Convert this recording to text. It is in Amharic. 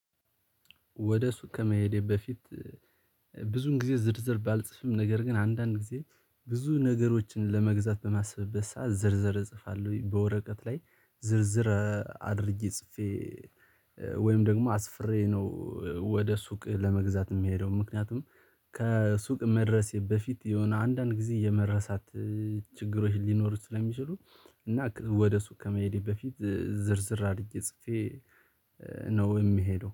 ወደ ሱቅ ከመሄዴ በፊት። ብዙውን ጊዜ ዝርዝር ባልፅፍም ነገር ግን አንዳንድ ጊዜ ብዙ ነገሮችን ለመግዛት በማስብበት ሰዓት ዝርዝር እጽፋለሁ በወረቀት ላይ ዝርዝር አድርጌ ጽፌ ወይም ደግሞ አስፍሬ ነው። ወደ ሱቅ ለመግዛት የምሄደው ምክንያቱም ከሱቅ መድረሴ በፊት የሆነ አንዳንድ ጊዜ የመረሳት ችግሮች ሊኖሩ ስለሚችሉ። እና ወደ ሱቅ ከመሄዴ በፊት ዝርዝር አድርጌ ነው ጽፌ ነው የምሄደው